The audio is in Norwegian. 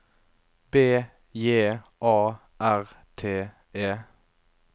B J A R T E